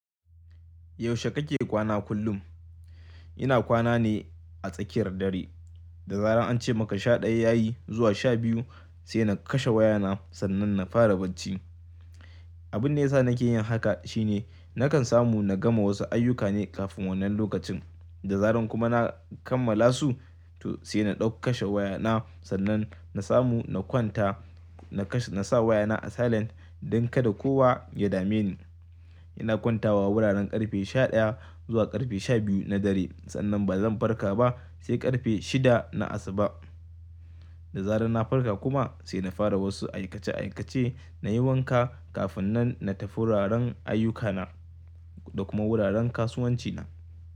Yaushe kake kwana kullum? Ina kwana ne a tsakiyar dare. Da zaran an ce maka sha ɗaya ya yi zuwa sha biyu sai na kashe wayana sannan na fara bacci. Abun da ya sa nake yin haka shine nakan samu na gama wasu ayyuka ne kafin wannan lokacin da zaran kuma na kammala su to sai na ɗau kashe wayana sannan na samu na kwanta, na sa wayana a silent don kada kowa ya dame ni. Ina kwantawa wuraren ƙarfe sha ɗaya zuwa ƙarfe sha biyu na dare sannan ba zan farka ba sai ƙarfe shida na asuba. Da zaran na farka kuma sai na fara wasu aikace aikace na yi wanka kafin nan na tafi wuraren ayyukana da kuma wuraren kasuwancina.